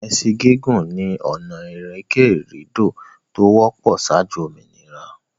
Ẹsin gigun ni ọ̀nà ìrìnkèrindò to wọ́pọ̀ saájú òmìnira.